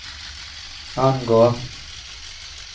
angår